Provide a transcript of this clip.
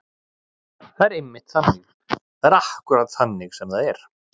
Það er einmitt þannig. það er akkúrat þannig sem það er.